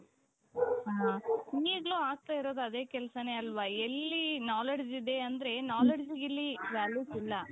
ಹ್ಮ್ ಈಗಲೂ ಆಗ್ತಾ ಇರೋದ್ ಅದೇ ಕೆಲಸನೆ ಅಲ್ವಾ ಎಲ್ಲಿ knowledge ಇದೆ ಅಂದ್ರೆ knowledgeಗೆ ಇಲ್ಲಿ value ಇಲ್ಲ.